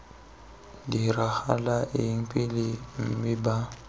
diragala eng pele mme b